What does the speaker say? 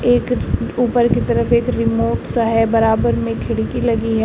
एक ऊपर की तरफ एक रिमोट सा है बराबर में खिड़की लगी है।